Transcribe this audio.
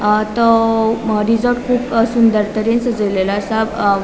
अ तो रिसॉर्ट कुब सुंदर तरेन सजेलेलों असा अ --